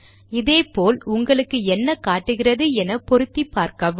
இதே போல் உங்களுக்கு என்ன காட்டுகிறது என பொருத்திப் பார்க்கவும்